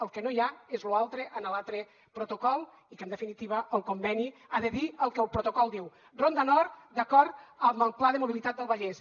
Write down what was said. el que no hi ha és lo altre en l’altre protocol i en definitiva el conveni ha de dir el que el protocol diu ronda nord d’acord amb el pla de mobilitat del vallès